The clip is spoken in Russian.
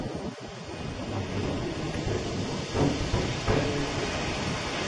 имеется ли у тебя кино оттепель пятая серия